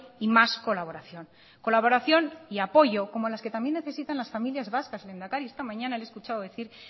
y más colaboración colaboración y apoyo como las que también necesitan las familias vascas lehendakari esta mañana le he escuchado decir